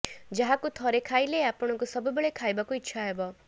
ଯାହାକୁ ଥରେ ଖାଇଲେ ଆପଣଙ୍କୁ ସବୁବେଳେ ଖାଇବାକୁ ଇଚ୍ଛା ହେବ